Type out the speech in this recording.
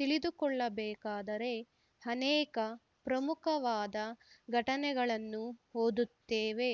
ತಿಳಿದುಕೊಳ್ಳಬೇಕಾದರೆ ಅನೇಕ ಪ್ರಮುಖವಾದ ಘಟನೆಗಳನ್ನು ಓದುತ್ತೇವೆ